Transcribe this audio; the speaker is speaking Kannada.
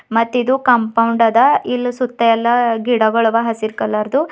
ಮತ್ತಿದು ಕಾಂಪೌಂಡ್ ಆದ ಇಲ್ ಸುತ್ತ ಎಲ್ಲಾ ಗಿಡ ಗೊಳ್ ಅವ ಎಲ್ಲಾ ಹಸಿರ್ ಕಲರ್ ದು.